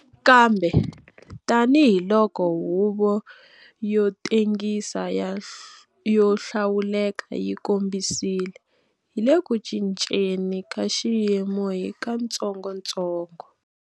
Kambe, tanihi loko Huvo yo Tengisa yo Hlawuleka yi kombisile, hi le ku cinceni ka xiyimo hi katsongotsongo.